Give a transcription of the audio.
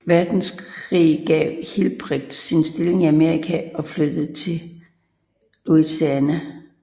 Verdenskrig opgav Hilprecht sin stilling i Amerika og flyttede til Lausanne